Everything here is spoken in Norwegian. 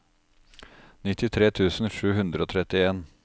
nittitre tusen sju hundre og trettien